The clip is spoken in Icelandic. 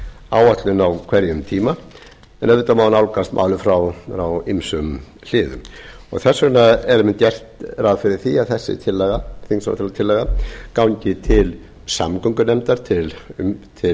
af samgönguáætlun á hverjum tíma en auðvitað má nálgast málið frá ýmsum sviðum þess vegna höfum við gert ráð fyrir því að þessi þingsályktunartillaga gangi til samgöngunefndar til